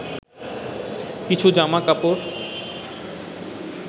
কিছু জামাকাপড়